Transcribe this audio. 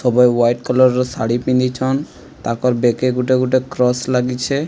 ଉଭୟେ white colour ର ଶାଢ଼ୀ ପିନ୍ଧିଛନ୍। ତାଙ୍କର ବେକେ ଗୋଟେ ଗୋଟେ କ୍ରସ ଲାଗିଛେ।